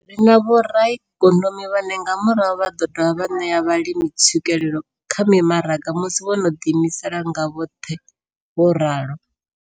Ri na vhoraikonomi vhane nga murahu vha ḓo dovha vha ṋea vhalimi tswikelelo kha mimaraga musi vho no ḓiimisa nga vhoṱhe, vho ralo.